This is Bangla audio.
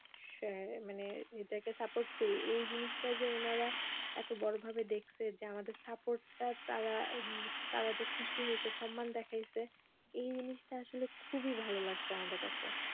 শ~ মানে এটাকে support করি এই জিনিসটা যে ওনারা এত বড়ো ভাবে দেখছে যে আমাদের support টা তারা, তারা যে খুশি হয়েছে সম্মান দেখাইছে এই জিনিসটা আসলে খুবই ভালো লাগছে আমাদের কাছে